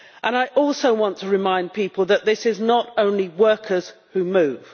I also want to remind people that it is not only workers who move.